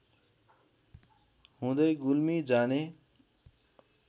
हुँदै गुल्मी जाने